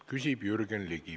Küsib Jürgen Ligi.